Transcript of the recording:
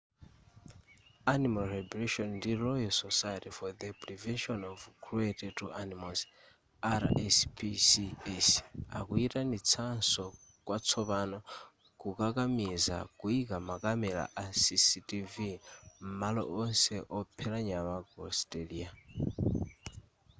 animal liberation ndi royal society for the prevention of cruelty to animals rspcs akuyitanitsanso kwatsopano kukakamiza kuyika makamera a cctv m'malo onse ophera nyama ku australia